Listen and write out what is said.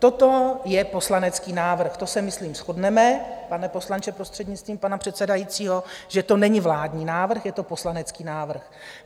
Toto je poslanecký návrh, to se myslím shodneme, pane poslanče prostřednictvím pana předsedajícího, že to není vládní návrh, je to poslanecký návrh.